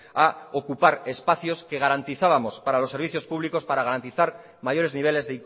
a ocupar espacios que garantizábamos para los servicios públicos para garantizar mayores niveles